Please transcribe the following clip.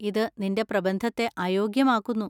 ഇത് നിന്‍റെ പ്രബന്ധത്തെ അയോഗ്യമാക്കുന്നു.